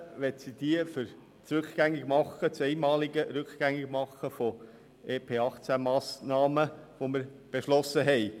Und verwenden möchte sie diese für das einmalige Rückgängigmachen von EP-2018-Massnahmen, die wir beschlossen haben.